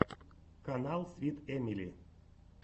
канал свит эмили